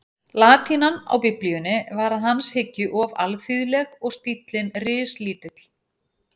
Latínan á Biblíunni var að hans hyggju of alþýðleg og stíllinn rislítill.